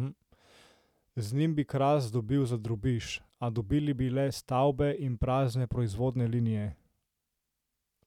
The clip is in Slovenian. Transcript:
Z njim bi Kras dobili za drobiž, a dobili bi le stavbe in prazne proizvodne linije.